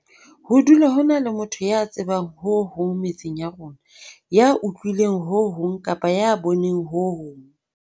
Ho dula ho na le motho ya tsebang ho hong metseng ya rona, ya utlwileng ho hong kapa ya boneng ho hong.